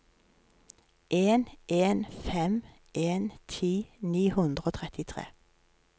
en en fem en ti ni hundre og trettitre